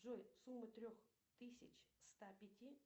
джой сумма трех тысяч ста пяти